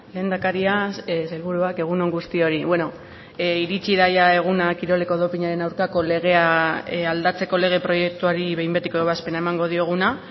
lehendakaria sailburuak egun on guztioi beno iritsi da eguna kiroleko dopinaren aurkako legea aldatzeko lege proiektuari behin betiko ebazpena emango dioguna